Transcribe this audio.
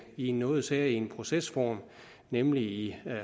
i en noget særegen procesform nemlig i